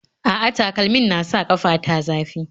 A'a, takalmin na sa ƙafa ta zafi